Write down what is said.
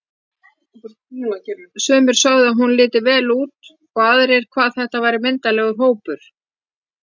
Sumir sögðu að hún liti vel út og aðrir hvað þetta væri myndarlegur hópur.